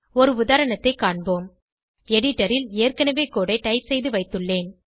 ஒரு உதாரணத்தைக் காண்போம் எடிடரில் ஏற்கனவே கோடு ஐ டைப் செய்து வைத்துள்ளேன்